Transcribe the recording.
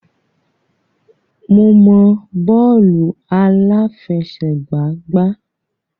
Mo mọ bọ́ọ̀lù àláfẹsẹ̀gbá gbá.